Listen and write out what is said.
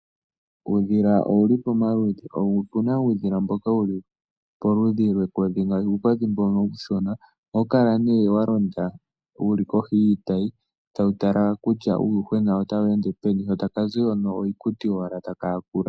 Uudhila owuli pomaludhi, opena uudhila mboka wuli poludhi lwekodhi ngaashi, uukodhi mbono uushona ohawu kala ne walonda wuli kohi yiitayi tawu tala kutya uuyuhwena otawu ende peni sho taka zi hono iikuti owala taka yakula.